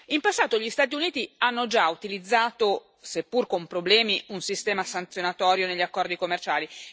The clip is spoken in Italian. In passato gli Stati Uniti hanno già utilizzato, seppur con problemi, un sistema sanzionatorio negli accordi commerciali.